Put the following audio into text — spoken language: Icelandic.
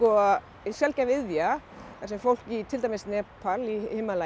sjaldgæf iðja þar sem fólk í til dæmis Nepal í